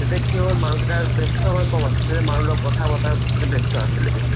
তেতিয়া কি হ'ল মানুহ কেইটা ব্যস্ত হুৱা ক'ম আছিলে তেতিয়া মানুহ লগত কথা পাতাত ব্যস্ত আছিলে তেতিয়া